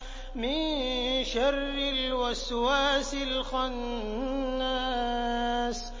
مِن شَرِّ الْوَسْوَاسِ الْخَنَّاسِ